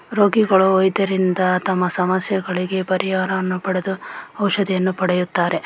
ರೋಗಿಗಳು ವೈದ್ಯರಿಂದ ತಮ್ಮ ಸಮಸ್ಯೆಗಳಿಗೆ ಪರಿಹಾರವನ್ನು ಪಡೆದು ಔಷಧಿಯನ್ನು ಪಡೆಯುತ್ತಾರೆ.